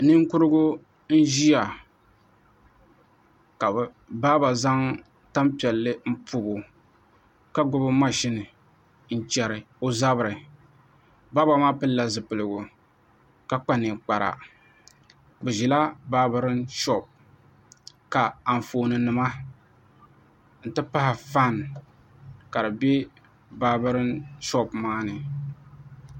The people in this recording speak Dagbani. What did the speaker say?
Ninkurigu n ʒiya ka baaba zaŋ tanpiɛlli n pobo ka gbubi mashini n chɛri o zabiri baaba maa pilila zipiligu ka kpa ninkpara bi ʒila baabirin shoop ka Anfooni nima n ti pahi faana ka di bɛ naabirin shoop maa ni